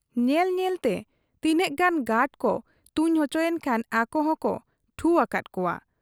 ᱧᱮᱞ ᱧᱮᱞ ᱛᱮ ᱛᱤᱱᱟᱹᱜ ᱜᱟᱱ ᱜᱟᱰᱠᱚ ᱛᱩᱧ ᱚᱪᱚᱭᱮᱱ ᱠᱷᱟᱱ ᱟᱠᱚᱦᱚᱸ ᱠᱚ ᱴᱷᱩ ᱟᱠᱟᱫ ᱠᱚᱣᱟ ᱾